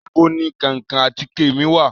Nibó ni kankan àtike mi wa?